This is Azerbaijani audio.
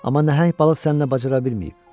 Amma nəhəng balıq səninlə bacara bilməyib.